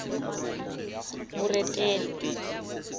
moretele